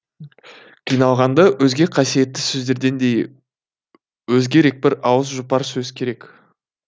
қиналғанда өзге қасиетті сөздерден де өзгерек бір ауыз жұпар сөз керек